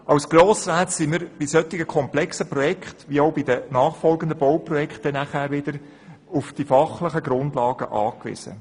Als Grossräte sind wir bei dermassen komplexen Projekten, wie dies auch auf die nachfolgenden Bauprojekte zutrifft, auf die fachlichen Grundlagen angewiesen.